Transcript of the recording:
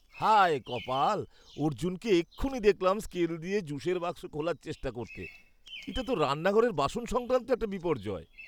হায় কপাল! অর্জুনকে এক্ষুণি দেখলাম স্কেল দিয়ে জুসের বাক্স খোলার চেষ্টা করতে। এটা তো রান্নাঘরের বাসন সংক্রান্ত একটা বিপর্যয়।